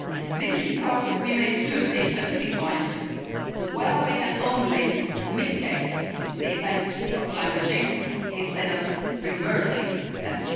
This is because we may soon reach a tipping point where we can only mitigate the effects of climate change instead of reversing them.